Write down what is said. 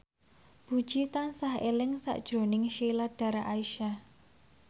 Puji tansah eling sakjroning Sheila Dara Aisha